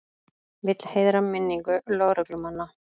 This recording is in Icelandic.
Vill heiðra minningu lögreglumanna